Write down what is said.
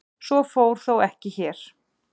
Svo fór þó ekki hér.